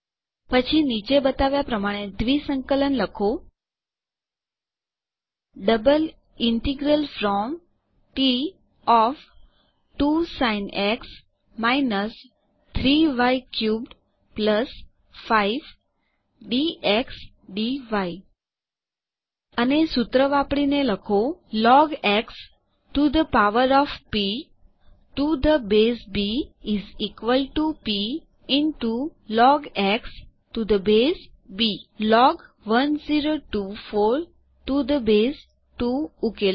પછી નીચે બતાવ્યાં પ્રમાણે દ્વિંસંકલન લખો double integral from t of 2 sin x - 3 y cubed 5 dx dy અને સુત્ર વાપરીને લખો log x to the power of p to the base b is equal to p into log x to the base b log 1024 to the base 2 ઉકેલો